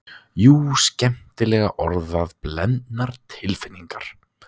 Jú, skemmtilega orðað, blendnar tilfinningar.